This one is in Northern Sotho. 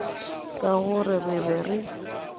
ka gore re be re